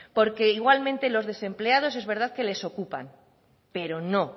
porque igualmente los desempleados es igual que les ocupan pero no